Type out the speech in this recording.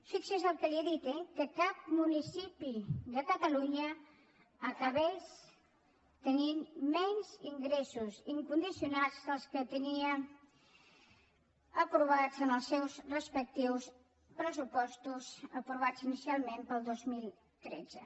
fixi’s el que li he dit eh que cap municipi de catalunya acabés tenint menys ingressos incondicionats dels que tenia aprovats en els seus respectius pressupostos aprovats inicialment per al dos mil tretze